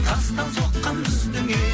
тастан соққан біздің үй